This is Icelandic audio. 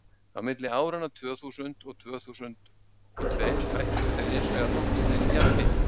á milli áranna tvö þúsund og tvö þúsund og tveir hækkuðu þær hins vegar nokkurn veginn jafnmikið